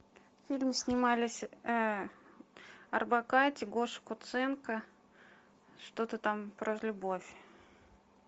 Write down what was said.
в фильме снимались орбакайте гоша куценко что то там про любовь